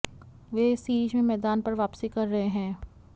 वे इस सीरीज में मैदान पर वापसी कर रहे हैं